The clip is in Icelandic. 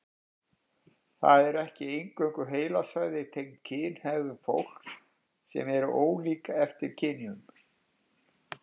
Það eru ekki eingöngu heilasvæði tengd kynhegðun sem eru ólík eftir kynjum.